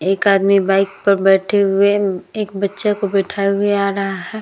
एक आदमी बाइक पर बैठे हुए एक बच्चे को बैठाये हुए आ रहा है ।